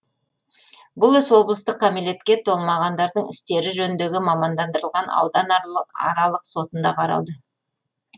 бұл іс облыстық кәмелетке толмағандардың істері жөніндегі мамандандырылған ауданаралық сотында қаралды